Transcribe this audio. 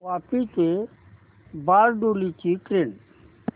वापी ते बारडोली ची ट्रेन